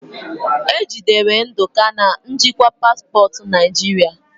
Ejidere ndụka na njikwa paspọtụ naijiria